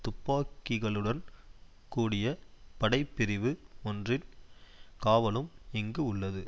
துப்பாக்கிகளுடன் கூடிய படை பிரிவு ஒன்றின் காவலும் இங்கு உள்ளது